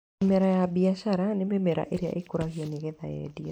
Mĩmera ya mbiacara nĩ mĩmera ĩrĩa ĩkũragio nĩ getha yendio.